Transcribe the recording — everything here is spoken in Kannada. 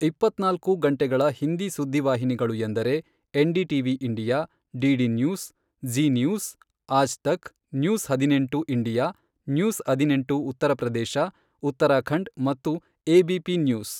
ಇಪ್ಪತ್ನಾಲ್ಕು ಗಂಟೆಗಳ ಹಿಂದಿ ಸುದ್ದಿ ವಾಹಿನಿಗಳು ಎಂದರೆ, NDTV India, DD News, Zee News, Aaj Tak, News ಹದಿನೆಂಟು ಇಂಡಿಯಾ, ನ್ಯೂಸ್ ಹದಿನೆಂಟು ಉತ್ತರ ಪ್ರದೇಶ ಉತ್ತರಾಖಂಡ್ ಮತ್ತು ಎಬಿಪಿ ನ್ಯೂಸ್.